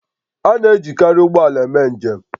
A na-ejikarị ụgbọ ala eme njem